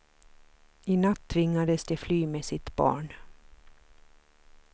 I natt tvingades de fly med sitt barn.